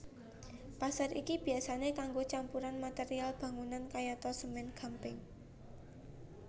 Pasir iki biyasané kanggo campuran material bangunan kayata semèn gamping